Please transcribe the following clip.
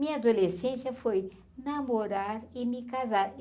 Minha adolescência foi namorar e me casar.